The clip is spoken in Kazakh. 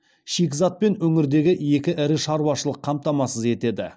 шикізатпен өңірдегі екі ірі шаруашылық қамтамасыз етеді